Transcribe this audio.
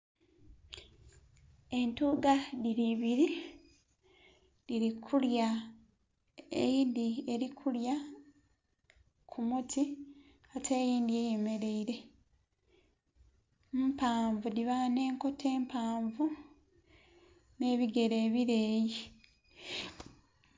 Entwiga dhiri ibiri dhiri kulya eyindhi eri kulya kumuti ate eyindhi eyemereire mpanvu dhiba n'enkoto empanvu n'ebigeere ebireyi.